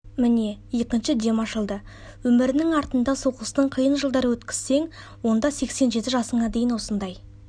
міне екінші дем ашылды өмірінің артында соғыстың қиын жылдары өткізсең онда сексен жеті жасыңа дейін осындай